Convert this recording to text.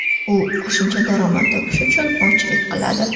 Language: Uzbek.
U qo‘shimcha daromad topish uchun ovchilik qiladi.